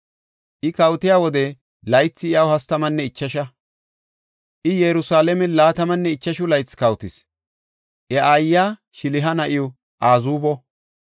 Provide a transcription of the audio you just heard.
I kawotiya wode laythi iyaw hastamanne ichasha; I Yerusalaamen laatamanne ichashu laythi kawotis. Iya aayiya Shiliha na7iw Azuubo.